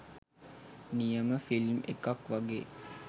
නියම ෆිල්ම් එකක් වගේ